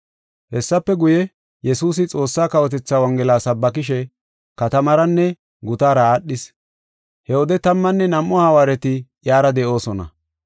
Hessafe guye, Yesuusi Xoossaa kawotethaa Wongela sabbakishe katamaaranne gutaara aadhis. He wode tammanne nam7u hawaareti iyara de7oosona.